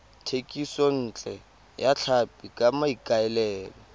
thekisontle ya tlhapi ka maikaelelo